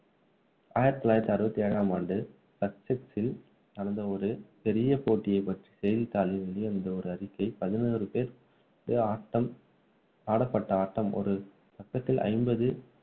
ஆயிரத்து தொள்ளாயிரத்து அறுபத்து ஏழாம் ஆண்டு சச்செக்சில் நடந்த ஒரு பெரிய போட்டியை பற்றி செய்தித்தாளில் வெளிவந்த ஒரு அறிக்கை பதினோருபேர் ஆட்டம் ஆடப்பட்ட ஆட்டம் ஒரு பக்கத்திற்கு ஐம்பது